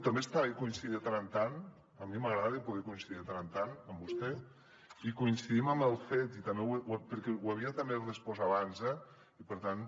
també està bé coincidir de tant en tant a mi m’agrada poder coincidir de tant en tant amb vostè i coincidim en el fet perquè ho havia també respost abans eh